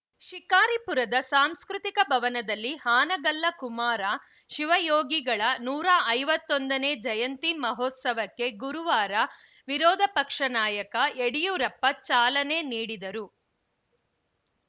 ಶಿಕಾರಿಪುರದ ಸಾಂಸ್ಕೃತಿಕ ಭವನದಲ್ಲಿ ಹಾನಗಲ್ಲ ಕುಮಾರ ಶಿವಯೋಗಿಗಳ ನೂರ ಐವತ್ತೊಂದನೇ ಜಯಂತಿ ಮಹೋತ್ಸವಕ್ಕೆ ಗುರುವಾರ ವಿರೋಧ ಪಕ್ಷ ನಾಯಕ ಯಡಿಯೂರಪ್ಪ ಚಾಲನೆ ನೀಡಿದರು